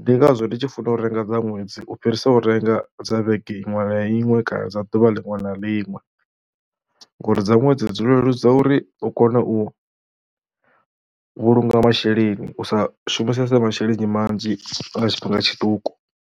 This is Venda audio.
Ndi ngazwo ndi tshi funa u renga dza ṅwedzi u fhirisa u renga dza vhege iṅwe na iṅwe kana dza ḓuvha liṅwe na liṅwe ngori dza ṅwedzi dzi leludza uri u kone u vhulunga masheleni u sa shumisese masheleni manzhi nga tshifhinga tshiṱuku.